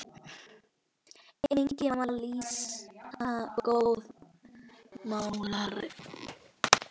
Einnig var Lísa góður málari.